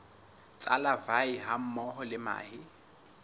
tsa larvae hammoho le mahe